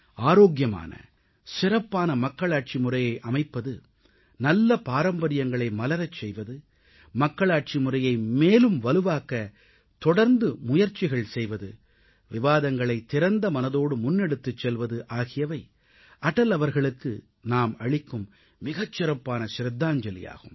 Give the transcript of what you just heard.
ஆரோக்கியமான சிறப்பான மக்களாட்சி முறையை அமைப்பது நல்ல பாரம்பரியங்களை மலரச் செய்வது மக்களாட்சி முறையை மேலும் வலுவாக்க தொடர்ந்து முயற்சிகள் செய்வது விவாதங்களை திறந்த மனதோடு முன்னெடுத்துச் செல்வது ஆகியவை அடல் அவர்களுக்கு நாம் அளிக்கும் மிகச் சிறப்பான ஷிரதாஞ்சலியாகும்